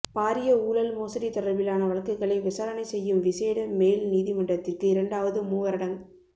பாரிய ஊழல் மோசடி தொடர்பிலான வழக்குகளை விசாரணை செய்யும் விசேட மேல் நீதிமன்றத்திற்கு இரண்டாவது மூவரடங்